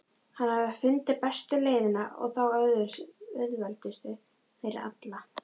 Hann hafði fundið bestu leiðina og þá auðveldustu fyrir alla.